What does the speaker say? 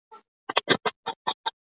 Salóme fær að dansa í þoku gleymskunnar.